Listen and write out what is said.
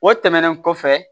O tɛmɛnen kɔfɛ